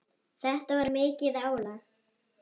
Þetta var mikið álag.